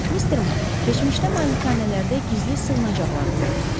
Mr. Mak, keçmişdə malikanələrdə gizli sığınacaqlar olurmuş.